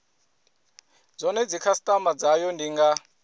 zwone dzikhasitama dzayo ndi nga